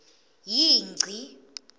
yingci